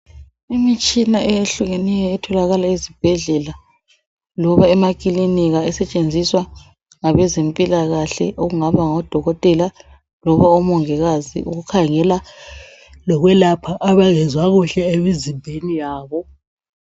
Imitshina eyehlukeneyo etholakala ezibhedlela loba ema kilinika esetshenziswa ngabezempilakahle okungaba ngodokotela loba omongikazi ukukhangela lokwelapha abangezwa kuhle emizimbeni yabo.